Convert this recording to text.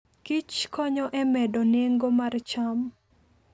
Kich konyo e medo nengo mar cham.